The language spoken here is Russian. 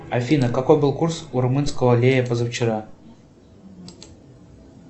афина какой был курс у румынского лея позавчера